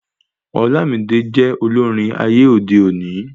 Olamide jẹ olórin ayé òde òni